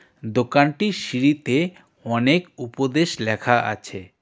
দোকানটির সিঁড়িতে অনেক উপদেশ লেখা আছে.